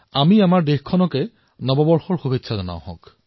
এইবাৰ আমি আমাৰ দেশক অভিনন্দন জনাও দেশক শুভকামনা জনাও